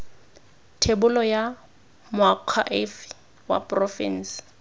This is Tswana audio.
thebolo ya moakhaefe wa porofense